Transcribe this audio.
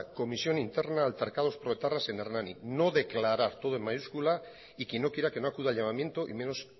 comisión interna altercados proetarras en hernani no declarar todo en mayúscula y quien no quiera que no acuda al llamamiento y menos